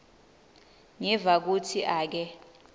ngiva kutsi ake